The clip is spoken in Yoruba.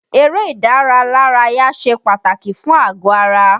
Eré ìdáralárayá ṣe pàtàkì fún àgọ-ara.